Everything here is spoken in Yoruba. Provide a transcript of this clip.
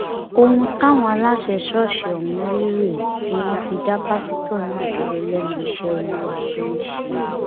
ohun táwọn aláṣẹ ṣọọṣì ọhún rí rèé tí wọn fi dá pásítọ náà dúró lẹnu iṣẹ olúwa tó ń ṣe